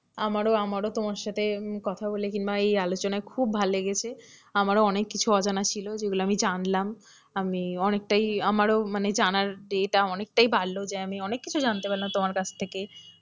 আমারও আমারও তোমার সাথে কথা বলে কিংবা এই আলোচনায় খুব ভালো লেগেছে আমারও অনেক কিছু অজানা ছিল যেগুলো আমি জানলাম, আমি অনেকটাই আমারও মানে জানার এটা অনেকটাই বাড়লো যে আমি অনেক কিছু জানতে পারলাম তোমার কাছ থেকে,